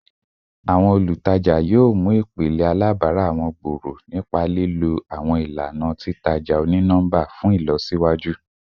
Awọn olutaja ati awọn olutaja yoo faagun ipilẹ alabara wọn nipa lilo awọn ilana titaja oni-nọmba ti ilọsiwaju